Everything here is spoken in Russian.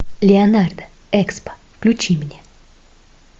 леонардо экспо включи мне